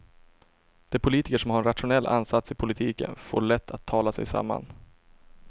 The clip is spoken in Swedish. De politiker som har en rationell ansats i politiken får lätt att tala sig samman.